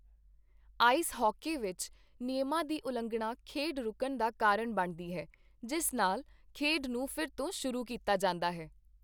Ice hockey ਵਿੱਚ, ਨਿਯਮਾਂ ਦੀ ਉਲੰਘਣਾ ਖੇਡ ਰੁਕਣ ਦਾ ਕਾਰਨ ਬਣਦੀ ਹੈ, ਜਿਸ ਨਾਲ ਖੇਡ ਨੂੰ ਫਿਰ ਤੋਂ ਸ਼ੁਰੂ ਕੀਤਾ ਜਾਂਦਾ ਹੈ।